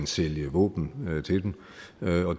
sælge våben til dem